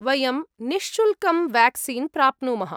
वयं निःशुल्कं वेक्सीन् प्राप्नुमः।